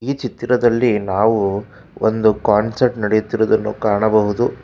ಈ ಚಿತ್ತಿರದಲ್ಲಿ ನಾವು ಒಂದು ಕಾನ್ಸರ್ಟ್ ನಡೆಯುತ್ತಿರುವುದನ್ನು ಕಾಣಬಹುದು.